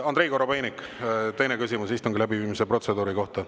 Andrei Korobeinik, teine küsimus istungi läbiviimise protseduuri kohta.